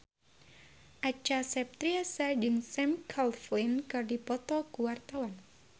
Acha Septriasa jeung Sam Claflin keur dipoto ku wartawan